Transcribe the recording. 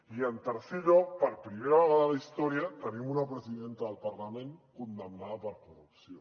i en tercer lloc per primera vegada a la història tenim una presidenta del parlament condemnada per corrupció